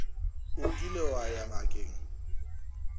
o kile wa ya ngakeng